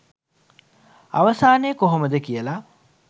අවසානය කොහොමද කියලා.